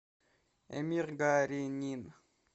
эмир гаренин